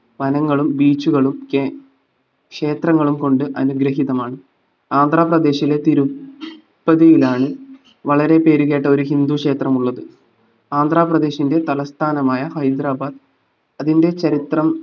വനങ്ങളും beach കളും കെ ക്ഷേത്രങ്ങളും കൊണ്ട് അനുഗ്രഹിതമാണ്‌ ആന്ധ്രാപദേശിലെ തിരു പ്പതിയിലാണ് വളരെ പേരുകേട്ട ഒരു ഹിന്ദു ക്ഷേത്രം ഉള്ളത് ആന്ധ്രാപദേശിന്റെ തലസ്ഥാനമായ ഹൈദരാബാദ് അതിന്റെ ചരിത്രം